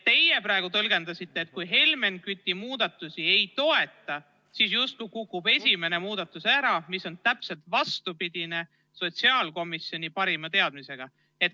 Teie praegu tõlgendasite nii, et kui Helmen Küti muudatusi ei toetata, siis justkui kukub esimene muudatusettepanek ära, mis on täpselt vastupidine sotsiaalkomisjoni arusaamaga.